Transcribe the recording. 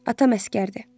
Atam əsgərdir.